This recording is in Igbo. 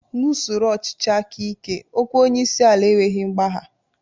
N'usoro ọchịchị aka ike, okwu onyeisiala enweghị mgbagha